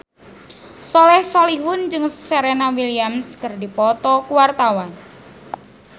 Soleh Solihun jeung Serena Williams keur dipoto ku wartawan